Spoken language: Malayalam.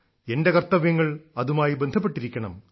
എന്റെ കർത്തവ്യങ്ങൾ അതുമായി ബന്ധപ്പെട്ടിരിക്കണം